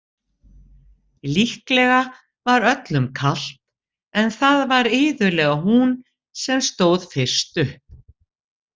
Líklega var öllum kalt en það var iðulega hún sem stóð fyrst upp.